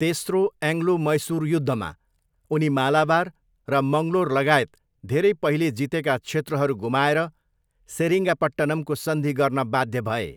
तेस्रो एङ्ग्लो मैसुर युद्धमा, उनी मालाबार र मङ्गलोर लगायत धेरै पहिले जितेका क्षेत्रहरू गुमाएर सेरिङ्गापट्टनमको सन्धि गर्न बाध्य भए।